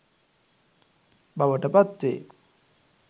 බවට පත් වේ.